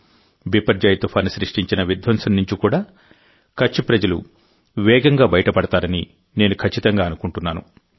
బైపర్జోయ్ తుఫాను సృష్టించిన విధ్వంసం నుండి కూడా కచ్ ప్రజలు వేగంగా బయటపడతారని నేను ఖచ్చితంగా అనుకుంటున్నాను